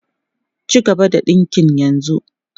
Cigaba da dinkin yanzu!